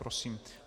Prosím.